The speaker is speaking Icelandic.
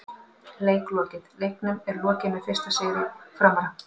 Leik lokið: Leiknum er lokið með fyrsta sigri Framara!!